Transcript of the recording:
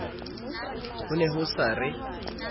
ho ne ho sa re